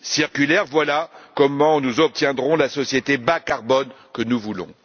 circulaire voilà comment nous obtiendrons la société bas carbone que nous voulons.